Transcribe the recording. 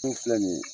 filɛ nin ye